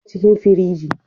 yana cikin firiji